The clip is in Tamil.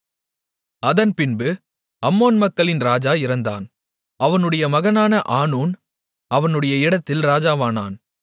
அதன்பின்பு அம்மோன் மக்களின் ராஜா இறந்தான் அவனுடைய மகனான ஆனூன் அவனுடைய இடத்தில் ராஜாவானான்